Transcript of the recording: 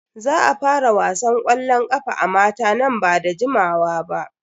Za a fara wasan ƙwallon ƙafa a mata nan ba da jimawa ba.